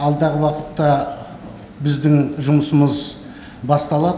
алдағы уақытта біздің жұмысымыз басталады